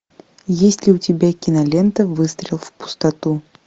есть ли у тебя кинолента выстрел в пустоту